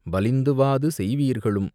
வலிந்து வாது செய்வீர்களும்,